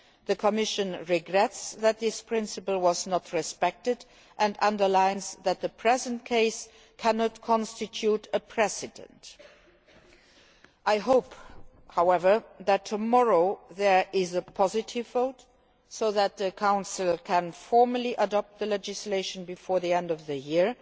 The Commission regrets that this principle was not respected and underlines that the present case cannot constitute a precedent. I hope, however, that tomorrow there will be a positive vote, so that the Council can formally adopt the legislation before the end of the year.